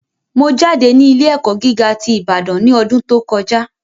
Mo jáde ní ilé ẹ̀kọ́ gíga ti Ibadan ní ọdún tó kọjá